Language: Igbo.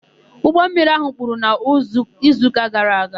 Ụgbọmmiri áhụ̀ kpuru n'izuụka gara aga.